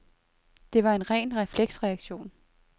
Det var en ren refleksreaktion.